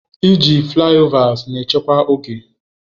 Iji flaịovers na echekwa oge.